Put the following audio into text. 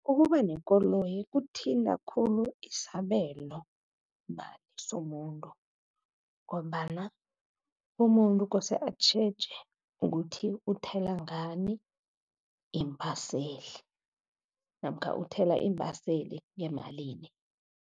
Ukuba nekoloyi kuthinta khulu isabelomali somuntu, ngombana umuntu kose atjheje ukuthi uthela ngani iimbaseli namkha uthela iimbaseli yemalini.